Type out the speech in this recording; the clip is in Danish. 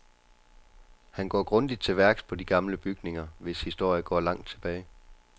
Han går grundigt til værks på de gamle bygninger, hvis historie går langt tilbage.